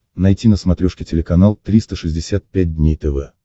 найти на смотрешке телеканал триста шестьдесят пять дней тв